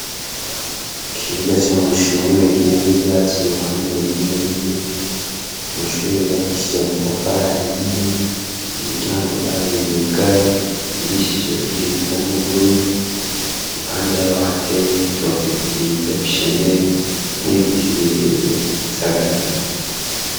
Ikibuga c'amashure kirimwo ivyacu ruhande rumwe rumwe amashure yubakishije amatafari ahiye imiryango yayo yugaye isigishije irangi ibisa n'ubururu ruhande yabo hateye y'ibitoke vyiza bishemeye n'ibiti birebie saganayo.